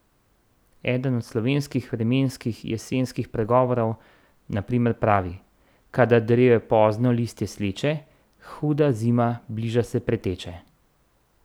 Eden od slovenskih vremenskih jesenskih pregovorov na primer pravi: "Kadar drevje pozno listje sleče, huda zima bliža se preteče".